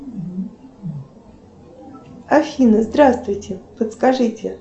афина здравствуйте подскажите